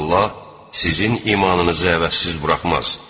Allah sizin imanınızı əvəzsiz buraxmaz.